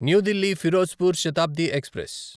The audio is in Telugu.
new Delhi Firozpur Shatabdi express